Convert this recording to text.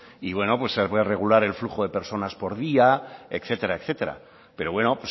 y bueno pues se puede regular el flujo de personas por día etcétera etcétera pero bueno